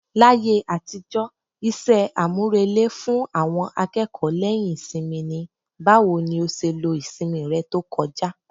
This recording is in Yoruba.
Láyé àtijọ́, iṣẹ́ àmúrelé fún àwọn akẹ́kọ̀ọ́ lẹ́yìn ìsinmi ni "Báwo ni ó ṣe lo ìsinmi rẹ tó kọjá?"